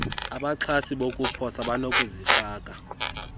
abaxhasi bezokuposa banokuzifaka